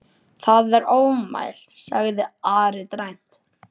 Það er ofmælt, sagði Ari dræmt.